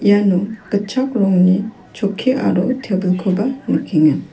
iano gitchak rongni chokki aro tebilkoba nikenga.